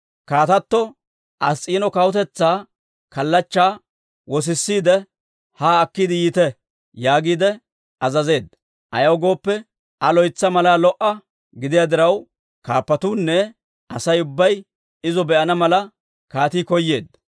«Kaatatto Ass's'iino kawutetsaa kallachchaa wosisiide, haa akkiide yiite» yaagiide azazeedda. Ayaw gooppe, Aa loytsa malaa lo"a gidiyaa diraw, kaappatuunne Asay ubbay izo be'ana mala, kaatii koyeedda.